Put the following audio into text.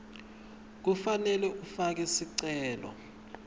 kufanele ufake sicelo